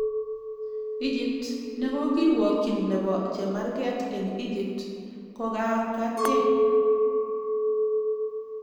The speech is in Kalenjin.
Egypt:Nekokirwokyin nebo chemarget eng Egypt kokakatge.